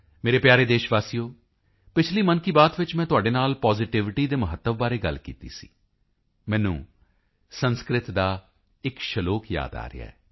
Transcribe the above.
ਮੇਰੇ ਪਿਆਰੇ ਦੇਸ਼ ਵਾਸੀਓ ਪਿਛਲੀ ਮਨ ਕੀ ਬਾਤ ਵਿੱਚ ਮੈਂ ਤੁਹਾਡੇ ਨਾਲ ਪਾਜ਼ਿਟਿਵਿਟੀ ਦੇ ਮਹੱਤਵ ਬਾਰੇ ਗੱਲ ਕੀਤੀ ਸੀ ਮੈਨੂੰ ਸੰਸਕ੍ਰਿਤ ਦਾ ਇੱਕ ਸ਼ਲੋਕ ਯਾਦ ਆ ਰਿਹਾ ਹੈ